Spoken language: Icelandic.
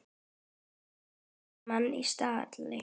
Fellir dramb menn af stalli.